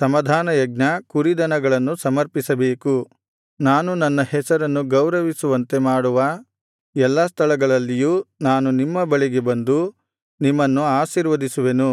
ಸಮಾಧಾನಯಜ್ಞ ಕುರಿದನಗಳನ್ನು ಸಮರ್ಪಿಸಬೇಕು ನಾನು ನನ್ನ ಹೆಸರನ್ನು ಗೌರವಿಸುವಂತೆ ಮಾಡುವ ಎಲ್ಲಾ ಸ್ಥಳಗಳಲ್ಲಿಯೂ ನಾನು ನಿಮ್ಮ ಬಳಿಗೆ ಬಂದು ನಿಮ್ಮನ್ನು ಆಶೀರ್ವದಿಸುವೆನು